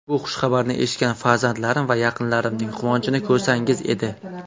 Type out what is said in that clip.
Bu xushxabarni eshitgan farzandlarim va yaqinlarimning quvonchini ko‘rsangiz edi.